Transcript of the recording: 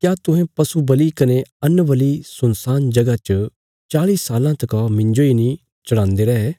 क्या तुहें पशु बल़ि कने अन्न बल़ि सुनसान जगह च चाल़ी साल्लां तका मिन्जो इ नीं चढ़ांदे रै